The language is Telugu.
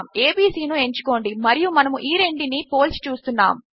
ఏబీసీ ను ఎంచుకోండి మరియు మనము ఈ రెంటినీ పోల్చి చూస్తున్నాము